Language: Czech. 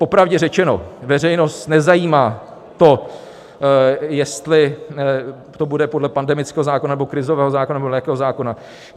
Popravdě řečeno, veřejnost nezajímá to, jestli to bude podle pandemického zákona, nebo krizového zákona nebo jakého zákona.